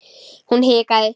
Hún hikaði.